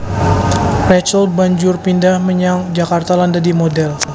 Rachel banjur pindhah menyang Jakarta lan dadi modhèl